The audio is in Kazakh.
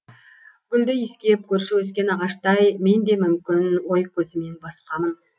гүлді иіскеп көрші өскен ағаштай мен де мүмкін ой көзімен басқамын